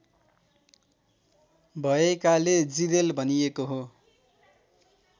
भएकाले जिरेल भनिएको हो